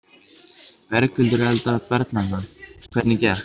Berghildur Erla Bernharðsdóttir: Hvernig gekk?